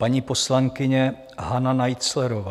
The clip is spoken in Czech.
Paní poslankyně Hana Naiclerová.